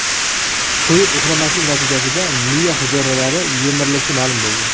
To‘yib uxlamaslik natijasida miya hujayralari yemirilishi ma’lum bo‘ldi.